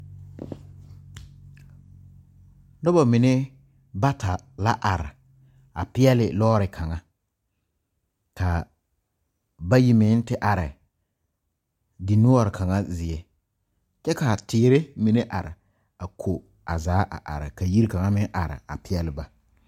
Noba mine bata la a are a peɛle lɔ ɔre kaŋa kaa bayi mine te are di noɔre kaŋa zie kyɛ ka teere mine are a ko o zaa a are ka Yiri kaŋa are peɛle ba